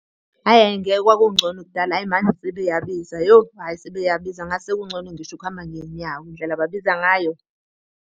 Hhayi hhayi ngeke kwakungcono kudala hhayi manje sebeyabiza yo, hhayi sebeyabiza ngathi sekungcono ngisho ukuhamba ngey'nyawo indlela ababiza ngayo.